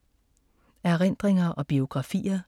Erindringer og biografier